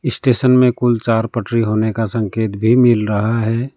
Station में कुल चार पटरी होने का संकेत भी मिल रहा है।